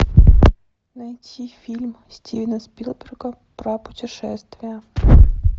найти фильм стивена спилберга про путешествие